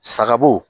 Sagabo